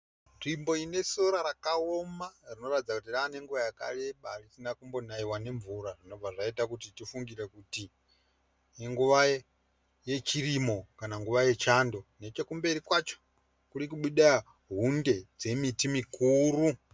Nzvimbo ine sora yakaoma rinoratidza kuti rane nguva yakareba risina kumbonaiwa nemvura zvinobva zvaita kuti tifungire kuti inguva yechirimo kana nguva yechando. Nechekumberi kwacho kuri kubuda hunde dzemiti mikuru.